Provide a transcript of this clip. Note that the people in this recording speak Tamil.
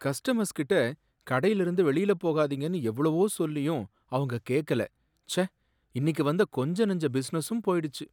கஸ்டமர்ஸ் கிட்ட கடையிலிருந்து வெளியில போகாதீங்கன்னு எவ்ளோ சொல்லியும் அவங்க கேக்கலை, ச்சே இன்னிக்கு வந்த கொஞ்ச நெஞ்ச பிஸினஸும் போயிடுச்சு.